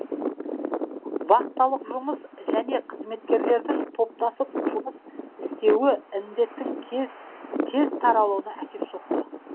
вахталық жұмыс және қызметкерлердің топтасып жұмыс істеуі індеттің тез таралуына әкеп соқты